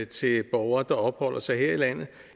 til borgere der opholder sig her i landet